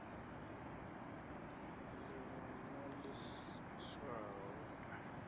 ḽi ṅwale no ḽi swaya